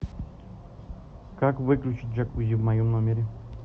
как выключить джакузи в моем номере